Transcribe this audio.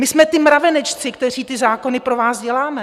My jsme ti mravenečci, kteří ty zákony pro vás děláme.